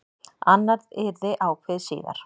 Annað yrði ákveðið síðar.